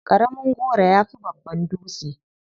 Ƙaramin goro ya fi babban dutse.